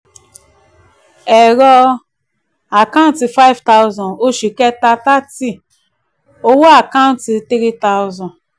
ẹ̀rọ account five thousand oṣù kẹta thirty owó account three thousand